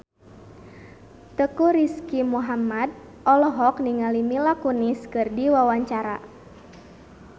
Teuku Rizky Muhammad olohok ningali Mila Kunis keur diwawancara